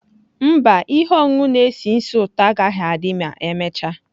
Mba, ihe ọṅụṅụ na-esi ísì ụtọ agaghị adị ma emechaa.